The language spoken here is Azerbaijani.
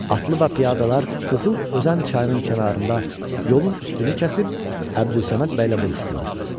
Atlı və piyada dəstələr Qızılözən çayının kənarında yolun üstünü kəsib Əbdülsəməd bəylə vuruşdular.